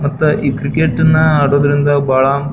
ಮತ್ತೆ ಈ ಕ್ರಿಕೆಟ್ ಅನ್ನಾ ಆಡೋದ್ರಿಂದ ಬಹಳ.